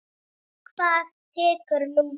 Hvað tekur nú við?